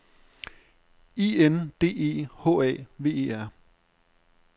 I N D E H A V E R